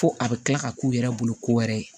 Fo a bɛ kila ka k'u yɛrɛ bolo ko wɛrɛ ye